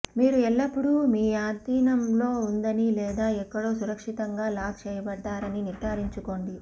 మీరు ఎల్లప్పుడూ మీ ఆధీనంలో ఉందని లేదా ఎక్కడో సురక్షితంగా లాక్ చేయబడ్డారని నిర్ధారించుకోండి